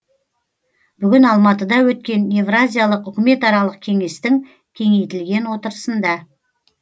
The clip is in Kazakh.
бүгін алматыда өткен евразиялық үкіметаралық кеңестің кеңейтілген отырысында